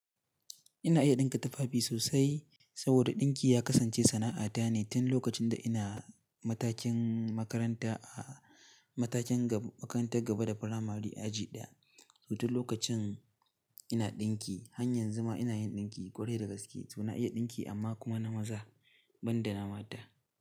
Ina iya ɗinka tufafi sosai saboda ɗinki ya kasance sana'ata ne tun lokacin da ina matakin makarata, matakin gaba da primary, a aji daya, to tu lokacin ina dinki. Har yanzu ma ina yin dinki, kwarai da gaske, to na iya dinki amma kuma na maza banda na mata.